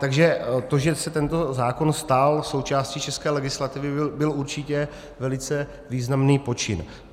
Takže to, že se tento zákon stal součástí české legislativy, byl určitě velice významný počin.